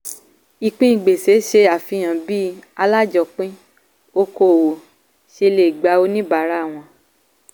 ìpín gbèsè ṣe àfihàn bí alájọpin okòwò ṣe lè gbà oníbàárà wọn.